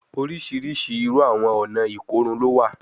Oriṣiriṣi iru awọn ọna ikorun lo wa